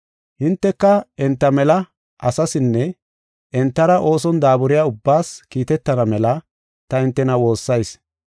Hinteka enta mela asaasinne, entara ooson daaburiya ubbaas kiitetana mela ta hintena woossayis.